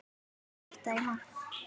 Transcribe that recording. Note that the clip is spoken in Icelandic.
Hvað hittir í mark?